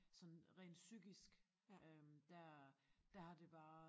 Sådan rent psykisk øh der der har det bare